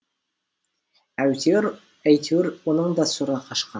әйтеуір әйтеуір оның да сұры қашқан